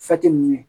ninnu ye